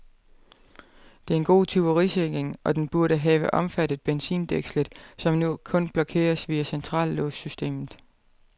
Det er en god tyverisikring, og den burde have omfattet benzindækslet, som nu kun blokeres via centrallåssystemet.